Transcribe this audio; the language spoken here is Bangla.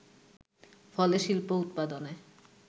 ফলে শিল্পোৎপাদনে